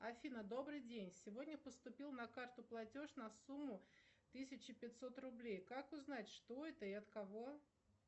афина добрый день сегодня поступил на карту платеж на сумму тысяча пятьсот рублей как узнать что это и от кого